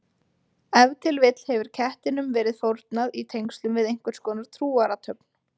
Ef til vill hefur kettinum verið fórnað í tengslum við einhverskonar trúarathöfn.